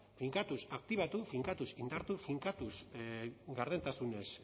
finkatuz aktibatu finkatuz indartu finkatuz gardentasunez